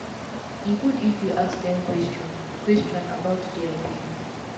e gud if u ask dem question question about dia belief